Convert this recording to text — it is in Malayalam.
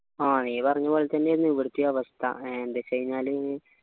ആ നീ പറഞ്ഞ പോലെ തന്നെയായിരുന്നു ഇവിടത്തെയും അവസ്ഥ എന്താ വെച്ചയിനാൽ